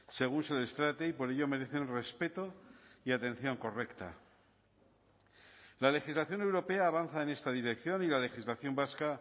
según se les trate y por ello merecen respeto y atención correcta la legislación europea avanza en esta dirección y la legislación vasca